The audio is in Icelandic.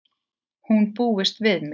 Hún búist við mér.